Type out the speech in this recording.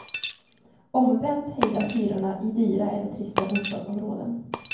Omvänt hejdas hyrorna i dyra eller trista bostadsområden.